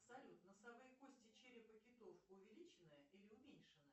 салют носовые кости черепа китов увеличены или уменьшены